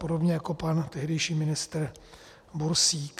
Podobně jako pan tehdejší ministr Bursík.